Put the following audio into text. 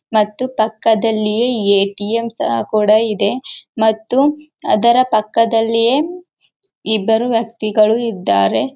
ಮತ್ತು ಪಕ್ಕದಲ್ಲಿಯೇ ಏ.ಟಿ.ಎಂ ಸಹ ಕೂಡ ಇದೆ ಮತ್ತು ಅದರ ಪಕ್ಕದಲ್ಲಿಯೇ ಇಬ್ಬರು ವ್ಯಕ್ತಿಗಳು ಇದ್ದಾರೆ.